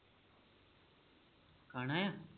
ਖਾਣਾ ਆ